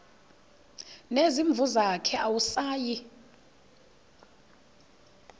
nezimvu zakhe awusayi